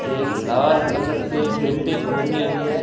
एक लाल कलर की बिल्डिंग बनी हुई है।